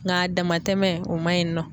N ka damatɛmɛ o maɲi nɔ.